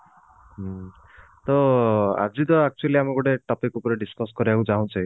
ହୁଁ ତ ଆଜିତ actually ଆମେ ଗୋଟେ topic ଉପରେ discuss କରିବାକୁ ଚାହୁଞ୍ଛେ